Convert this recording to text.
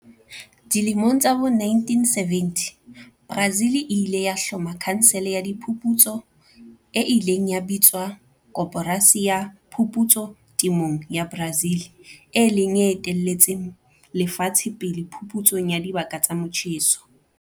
Dilemong tsa bo1970, Brazil e ile ya hloma khansele ya diphuputso e ileng ya bitswa Koporasi ya Phuputso Temong ya Brazil, e leng e etelletseng lefatshe pele phuputsong ya dibaka tsa motjheso.